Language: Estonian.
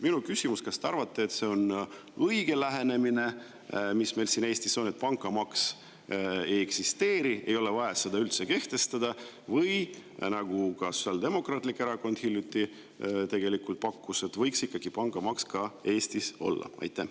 Minu küsimus on see: kas te arvate, et see on õige lähenemine, mis meil siin Eestis on, et pangamaksu ei eksisteeri, ei ole vaja seda üldse kehtestada, või ka Sotsiaaldemokraatlik Erakond hiljuti pakkus, et ikkagi võiks pangamaks Eestiski olla?